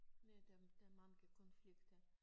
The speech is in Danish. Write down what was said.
Ja der der mange konflikter